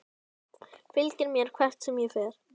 Fylgir mér hvert sem ég fer.